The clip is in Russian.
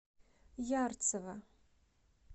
ярцево